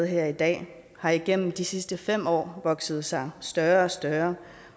her i dag har igennem de sidste fem år vokset sig større større